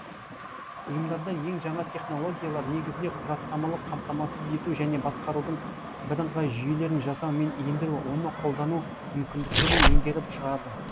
ұйымдарда ең жаңа технологиялар негізінде құжаттамалық қамтамасыз ету және басқарудың бірыңғай жүйелерін жасау мен ендіру оны қолдану мүмкіндіктерін меңгеріп шығады